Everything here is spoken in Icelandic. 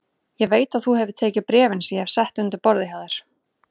Ég veit að þú hefur tekið bréfin sem ég hef sett undir borðið hjá þér